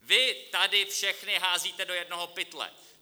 Vy tady všechny házíte do jednoho pytle.